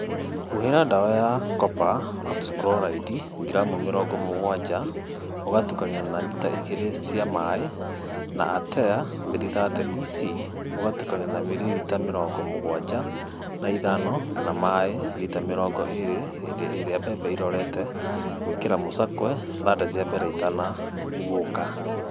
Huhĩra ndawa ya Kopa Okicikuroraindi (ngiramu mĩrongo mũgwanja ũgatukania na rita igĩrĩ cia maaĩ) na Atea 330 EC ũgitukania miririta mĩrongo mũgwanja na ithano na maaĩ rita mĩrongo ĩĩrĩ hĩndĩ ĩrĩa mbembe irorete gwĩkĩra mũcakwe/thanda cia mbembe itanaguũka.